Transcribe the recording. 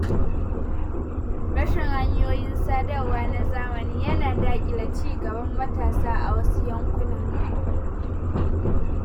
Rashin hanyoyin sadarwa na zamani yana daƙile cigaban matasa a wasu yankunan.